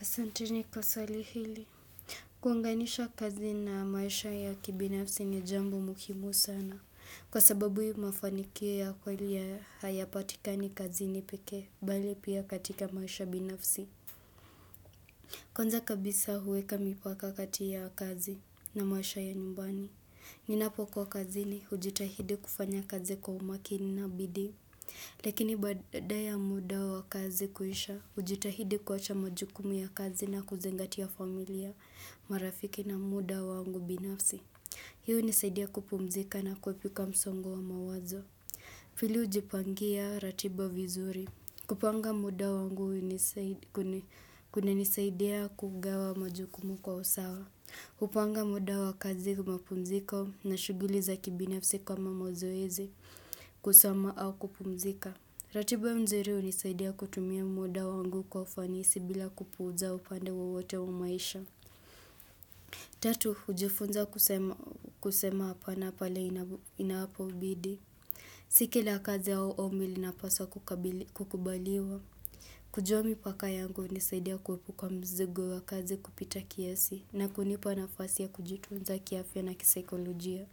Asanteni kwa swali hili. Kunganisha kazi na maisha ya kibinafsi ni jambo muhimu sana. Kwa sababu mafanikio ya kweli hayapatikani kazi ni pekee, bali pia katika maisha binafsi. Kwanza kabisa huweka mipaka kati ya kazi na maisha ya nyumbani. Ninapo kuwa kazini hujitahidi kufanya kazi kwa umakini na bidii. Lakini baada ya muda wa kazi kuisha hujitahidi kuacha majukumu ya kazi na kuzingatia familia marafiki na muda wangu binafsi Hii hunisaidia kupumzika na kuepuka msongo wa mawazo hili hujipangia ratiba vizuri kupanga muda wangu kunanisaidia kugawa majukumu kwa usawa kupanga muda wa kazi kwa mapumziko na shughuli za kibinafsi kama mazoezi kusoma au kupumzika ratiba mzuri hunisaidia kutumia muda wangu kwa ufanisi bila kupuuza upande wowote wa maisha Tatu, hujifunza kusema hapana pale inapobidii Si kila kazi au ombi linapaswa kukubaliwa Kujomi paka yangu hunisaidia kuepuka mzigo wa kazi kupita kiasi na kunipa nafasi ya kujitunza kiafya na kisaikolojia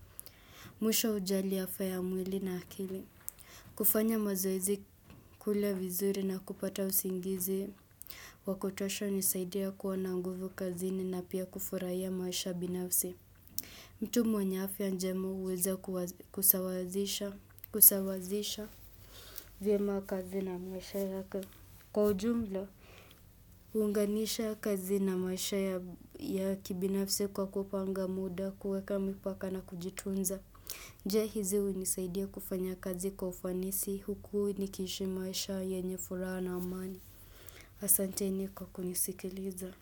Mwisho hujali afya ya mwili na akili kufanya mazoezi kula vizuri na kupata usingizi. Wakotosho nisaidia kuwa na nguvu kazini na pia kufurahia maisha binafsi. Mtu mwenye afya njema huweza kusawazisha vyema kazi na maisha ya kujumla. Kuunganisha kazi na maisha ya kibinafsi kwa kupanga muda kuweka mipaka na kujitunza. Je hizi hunisaidia kufanya kazi kwa ufanisi huku nikiishimaisha yenye furaha na amani. Asanteni kwa kunisikiliza.